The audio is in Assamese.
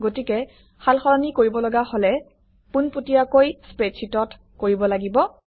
গতিকে সালসলনি কৰিবলগা হলে পোনপটীয়াকৈ স্প্ৰেডশ্বিটত কৰিব লাগিব